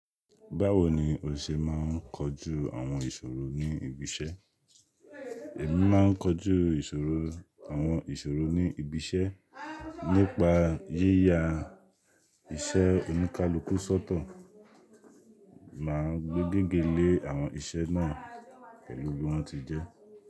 Báwo ni o ṣe máà ń kojú àwọn ìṣòro ní ibi iṣẹ́? Èmi máa ń kojú ìṣòro, àwọn ìṣòro ní ibi iṣẹ́ nípa yíya iṣẹ́ oníkálukú sọ́tọ̀, má ń gbé gígé lé àwọn iṣẹ́ náà pẹ̀lú bí wọ́n ti jẹ́.